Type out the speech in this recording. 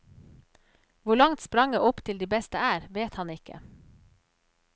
Hvor langt spranget opp til de beste er, vet han ikke.